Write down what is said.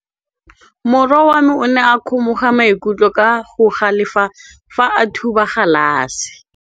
Morwa wa me o ne a kgomoga maikutlo ka go galefa fa a thuba galase.